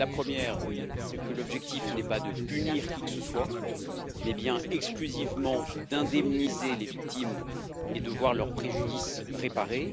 La première, c'est que l'objectif n'est pas de punir qui que ce soit, mais bien exclusivement d'indemniser les victimes et de voir leur préjudice réparé.